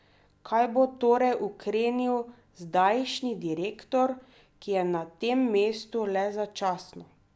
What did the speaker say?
Kaj bo torej ukrenil zdajšnji direktor, ki je na tem mestu le začasno?